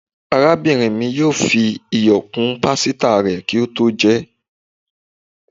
Arábínrín mí yóò fí ìyọ kún pásítá rè kí o tó jé